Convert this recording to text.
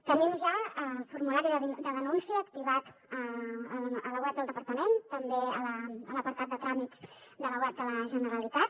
tenim ja el formulari de denúncia activat a la web del departament també a l’apartat de tràmits de la web de la generalitat